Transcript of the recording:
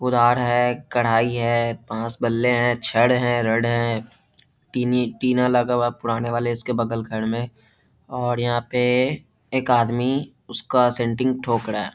कुदाल है कड़ाही है बाँस-बल्ले है छड़ है रॉड है टिनी टिना लगा हुआ है पुराने वाले इसके बगल घर में और यहाँ पे एक आदमी उसका सेण्टिंग ठोक रहा है।